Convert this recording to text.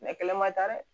kɛlɛ ma taa dɛ